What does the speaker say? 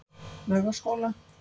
Laugaskóla